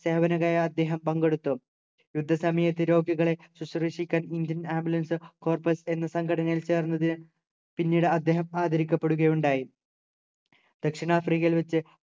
സേവകന നയാ അദ്ദേഹം പങ്കെടുത്തു യുദ്ധ സമയത് രോഗികളെ ശുശ്രുഷിക്കാൻ indian ambulance corpus എന്ന സംഘടനയിൽ ചേർന്നത് പിന്നീട് അദ്ദേഹം ആദരിക്കപ്പെടുകയുണ്ടായി ദക്ഷിണാഫ്രിക്കയിൽ വച്ച്